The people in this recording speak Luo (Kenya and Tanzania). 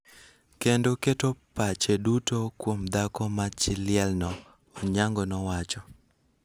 kendo keto pache duto kuom dhako ma chi liel no, Onyango nowacho.